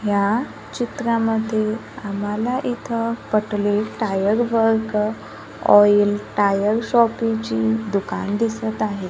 या चित्रामध्ये आम्हाला इथं Patole tyre work oil tyre शॉपीची दुकानं दिसतं आहे.